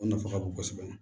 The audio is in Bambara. O nafa ka bon kosɛbɛ